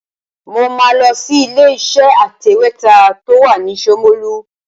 Mo máa lọ sí ilé-iṣẹ́ atẹ̀wétà tó wà ní Ṣomolu.